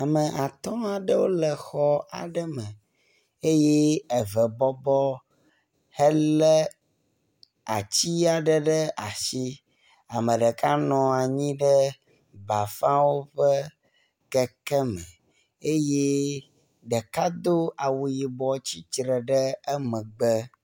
Ame atɔ̃ aɖewo le xɔ aɖe me eye eve bɔbɔ hele atsi aɖe ɖe asi. Ame ɖeka bɔbɔ nɔ anyi ɖe bafãwo ƒe keke me eye ɖeka do awu yibɔ tsitre ɖe emegbe.